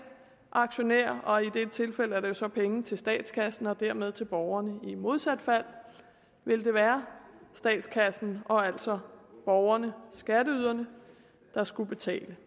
aktionær og i dette tilfælde er det så penge til statskassen og dermed til borgerne i modsat fald ville det være statskassen og altså borgerne skatteyderne der skulle betale